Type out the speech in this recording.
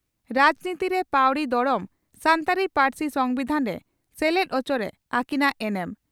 ᱨᱟᱡᱽᱱᱤᱛᱤᱨᱮ ᱯᱟᱹᱣᱲᱤ ᱫᱚᱲᱚᱢ ᱥᱟᱱᱛᱟᱲᱤ ᱯᱟᱹᱨᱥᱤ ᱥᱚᱢᱵᱤᱫᱷᱟᱱᱨᱮ ᱥᱮᱞᱮᱫ ᱚᱪᱚᱨᱮ ᱟᱹᱠᱤᱱᱟᱜ ᱮᱱᱮᱢ